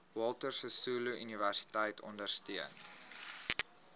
walter sisuluuniversiteit ondersteun